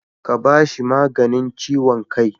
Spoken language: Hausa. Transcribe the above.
Ka ba shi maganin ciwon kai.